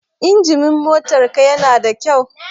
Injimin motar ka na da kyau?